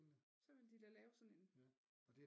Så ville de da lave sådan en